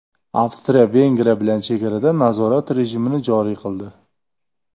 Avstriya Vengriya bilan chegarada nazorat rejimini joriy qildi.